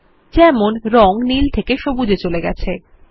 উদাহরণস্বরূপ রঙ নীল থেকে সবুজ রঙ এ চলে গেছে